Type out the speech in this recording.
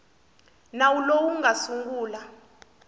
nawu lowu wu nga sungula